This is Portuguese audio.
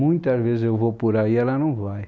Muitas vezes eu vou por aí e ela não vai.